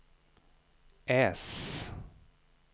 äss